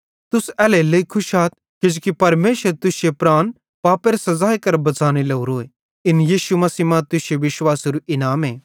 तुस एल्हेरेलेइ खुश आथ किजोकि परमेशर तुश्शे प्राण पापेरे सज़ाई करां बच़ाने लोरोए इन यीशु मसीह मां तुश्शे विश्वासेरू इनामे